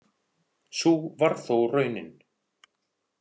Sú varð þó raunin.